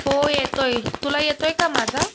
हो येतोय. तुला येतोय का माझा?